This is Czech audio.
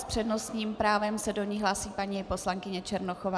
S přednostním právem se do ní hlásí paní poslankyně Černochová.